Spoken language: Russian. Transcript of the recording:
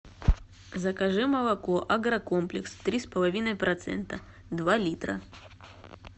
закажи молоко агрокомплекс три с половиной процента два литра